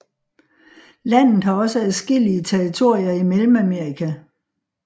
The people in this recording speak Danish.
Landet har også adskillige territorier i Mellemamerika